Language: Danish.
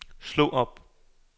slå op